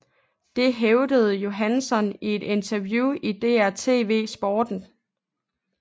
Dette hævdede Johansson i et interview i DR TV Sporten